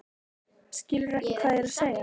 Skilurðu ekki hvað ég er að segja?